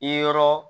I yɔrɔ